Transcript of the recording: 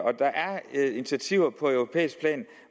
initiativer på europæisk plan